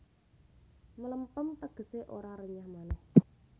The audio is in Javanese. Mlempem tegesé ora renyah manéh